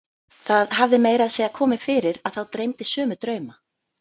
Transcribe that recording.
Það hafði meira að segja komið fyrir að þá dreymdi sömu drauma.